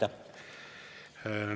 Aitäh!